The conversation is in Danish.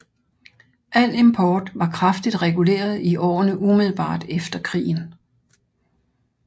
Al import var kraftigt reguleret i årene umiddelbart efter krigen